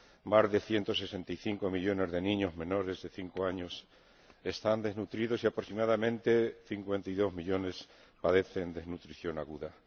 Más de 165 millones de niños menores de cinco años están desnutridos y aproximadamente 52 millones padecen desnutrición aguda.